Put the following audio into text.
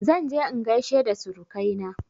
Zan je in gaishe da surukaina